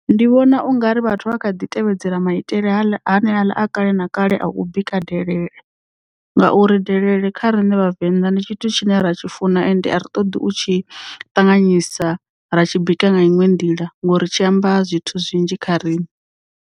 Ndi vhona ungari vhathu vha kha ḓi tevhedzela maitele haneaḽa a kale na kale a u bika delele ngauri delele kha rine vhavenḓa ndi tshithu tshine ra tshi funa ende a ri ṱoḓi u tshi ṱanganyisa ra tshi bika nga inwe nḓila ngori tshi amba zwithu zwinzhi kha riṋe.